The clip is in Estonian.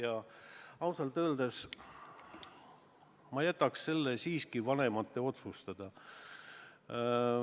Aga ausalt öeldes ma jätaks selle siiski vanemate otsustada.